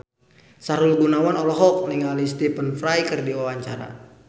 Sahrul Gunawan olohok ningali Stephen Fry keur diwawancara